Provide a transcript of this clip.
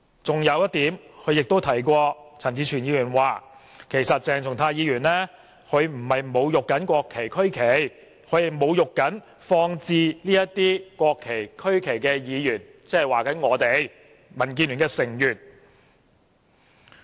此外，陳志全議員提及，其實鄭松泰議員並不是在侮辱國旗、區旗，他只是在侮辱放置這些國旗、區旗的議員，即是我們這些民主建港協進聯盟的成員。